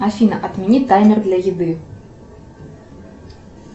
афина отмени таймер для еды